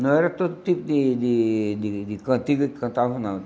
Não era todo tipo de de de de cantiga que cantavam, não.